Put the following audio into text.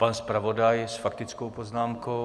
Pan zpravodaj s faktickou poznámkou.